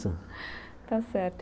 Tá certo.